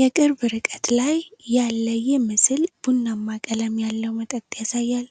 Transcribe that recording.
የቅርብ ርቀት ላይ ያለ ይህ ምስል ቡናማ ቀለም ያለው መጠጥ ያሳያል።